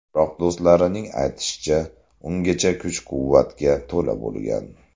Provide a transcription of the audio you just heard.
Biroq, do‘stlarining aytishicha, ungacha kuch-quvvatga to‘la bo‘lgan.